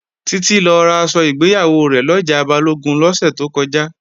Títí lọ raṣọ ìgbéyàwó rẹ̀ lọjà Balógun lọ́sẹ̀ tó kọjá